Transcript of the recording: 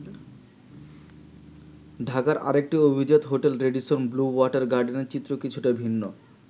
ঢাকার আরেকটি অভিজাত হোটেল র‍্যাডিসন ব্লু ওয়াটার গার্ডেনের চিত্র কিছুটা ভিন্ন।